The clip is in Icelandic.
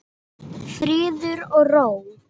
Friður og ró.